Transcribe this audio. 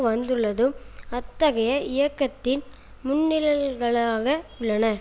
வந்துள்ளதும் அத்தகைய இயக்கத்தின் முன்னிழல்களாக உள்ளன